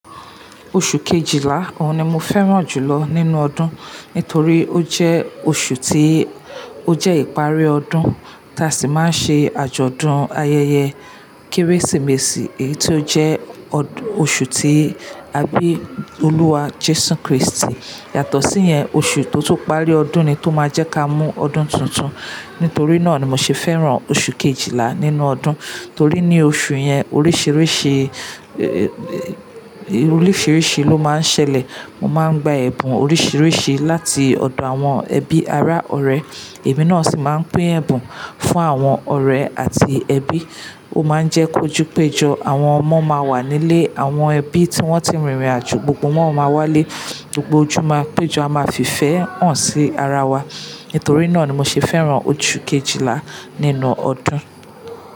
Oṣù kejìlá òun ni mo fẹ́ràn jùlọ nínú ọdún, nítorí ó jẹ́ oṣù tí ó jẹ́ ìpárí ọdún tí a sì máa ń ṣe àjọ̀dún ayẹyẹ Kérésìmesì èyí tó jẹ́ ọdún oṣù tí a bí Olúwa Jésù Kristi. Yàtọ̀ sí yẹn, oṣù tó tún parí ọdún ni tó máa jẹ́ ká mú ọdún tuntun. Nítorí náà ni mo ṣe fẹ́ràn oṣù kejìlá nínú ọdún. Torí ní oṣù yẹn oríṣìíríṣìí, oríṣìíríṣìí ló máa ń ṣẹlẹ̀. Mo máa ń gba ẹ̀bùn oríṣìíríṣìí láti ọ̀dọ̀ àwọn ẹbí, ará, ọ̀rẹ́. Èmi náà sì máa ń pín ẹ̀bùn fún àwọn ọ̀rẹ́ àti ẹbí. Ó máa ń jẹ́ kojú péjọ, àwọn ọmọ máa wà nílé àwọn ẹbí tí wón ti rìnrìn àjò, gbogbo wọn máa wà lé gbogbo ojú máa pèjo, a máà fi ìfé hàn sí ara wa nítorí náà ni mo ṣe fẹ́ràn oṣù kejìlá nínú ọdún.